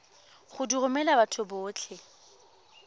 go di romela batho botlhe